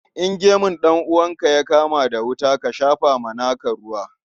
In gemun ɗan'uwanka ya kama da wuta, ka shafa wa naka ruwa.